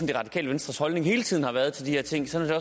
det radikale venstres holdning hele tiden har været til de her ting sådan har